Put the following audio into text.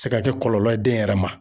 Se ka kɛ kɔlɔlɔ ye den yɛrɛ ma.